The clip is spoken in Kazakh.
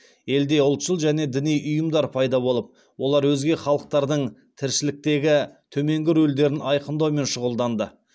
елде ұлтшыл және діни ұйымдар пайда болып олар өзге халықтардың тіршіліктегі төменгі рөлдерін айқындаумен шұғылданды